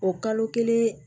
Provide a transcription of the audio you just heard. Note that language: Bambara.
O kalo kelen